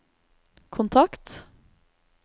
kontakt